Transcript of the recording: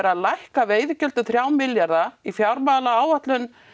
að lækka veiðigjöld um þrjá milljarða í fjármálaáætlun